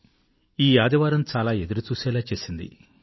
కానీ ఈ సండే చాలా ఎదురుచూసేలా చేసింది